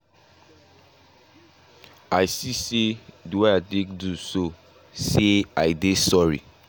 i see say the wey i take do so say i dey sorry.